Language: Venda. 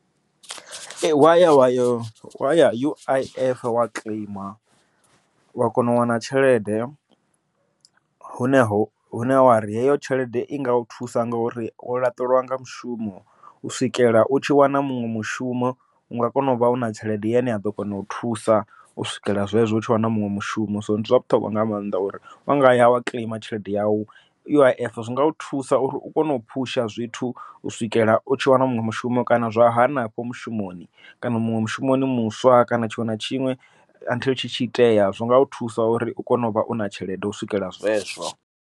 Ee waya wayo waya U_I_F wa kiḽeima wa kona u wana tshelede, hune ho hune heyo tshelede i nga u thusa ngori wo laṱelwa nga mushumo u swikela u tshi wana muṅwe mushumo, unga kona uvha u na tshelede yane ya ḓo kona u thusa u swikela zwezwo u tshi wana muṅwe mushumo. So ndi zwa vhuṱhogwa nga maanḓa uri wanga yau kiḽeima tshelede yau U_I_F zwi nga u thusa uri u kone u phusha zwithu u swikela u tshi wana muṅwe mushumo, kana zwa hanefho mushumoni, kana muṅwe mushumoni muswa kana tshiṅwe na tshiṅwe until tshi tshi itea zwinga u thusa uri u kone uvha u na tshelede u swikela zwezwo.